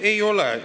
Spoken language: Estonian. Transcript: Ei ole.